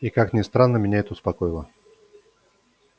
и как ни странно меня это успокоило